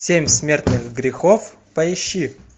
семь смертных грехов поищи